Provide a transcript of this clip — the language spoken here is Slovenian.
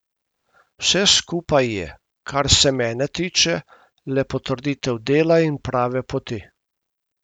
Vse skupaj je, kar se mene tiče, le potrditev dela in prave poti.